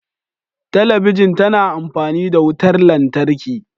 Talabijin tana amfani da wutar lantarki.